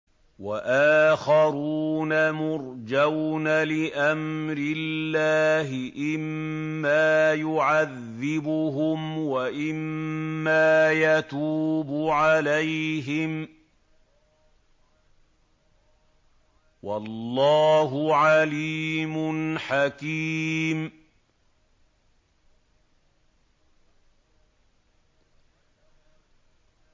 وَآخَرُونَ مُرْجَوْنَ لِأَمْرِ اللَّهِ إِمَّا يُعَذِّبُهُمْ وَإِمَّا يَتُوبُ عَلَيْهِمْ ۗ وَاللَّهُ عَلِيمٌ حَكِيمٌ